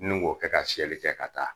Ni ŋ'o kɛ ka siyɛli kɛ ka taa.